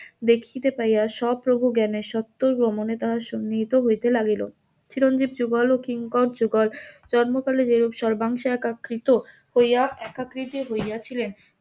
দেখিতে পাইয়া স্বপ্রভু জ্ঞ্যানে স্বত্বর গমনে তাহার সন্নিহিত হইতে লাগিল চিরঞ্জীব যুগল কিঙ্কর যুগল ব্রম্ভ কালে সর্বাংশে একা কৃত হইয়া একা কৃত হইয়া ছিলেন